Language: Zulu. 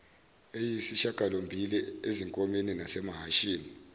eyisishagalombili ezinkomeni nasemahashini